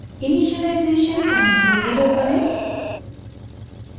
initialisation time को 0 करें